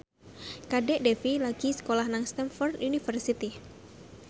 Kadek Devi lagi sekolah nang Stamford University